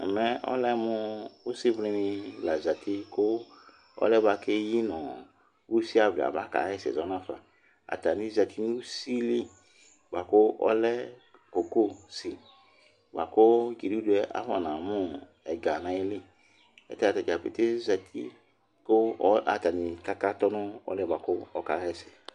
mɛ ɔlɛmu usivlini lɑ zɑti ɔluɛ buɑku ɛyinusivli ɑbɑkɑyɛsɛ zɔnɑfɑ ɑtɑni zɑtinu sili ku ɔlɛ cocosi ɑkukiniduɛ ɑfɔnɑmu ɛgɑnɑyili ɑtɑnidzɑ pɛtɛ ɑzɑti kakɑdu nu ɔluɛkɑhɛsɛyɛ